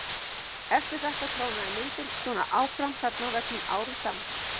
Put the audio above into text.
Eftir þetta trónaði myndin svo áfram þarna á veggnum árum saman.